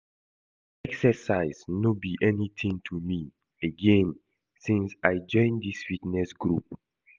Exercise no be anything to me, again since I join dis fitness group